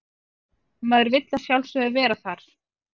Maður vill að sjálfsögðu vera þar